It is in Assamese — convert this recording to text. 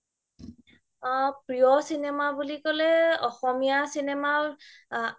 অ প্ৰিয় চিনেমা বুলি ক্'লে অসমীয়া চিনেমা